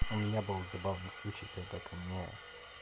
у меня был забавный случай когда ко мне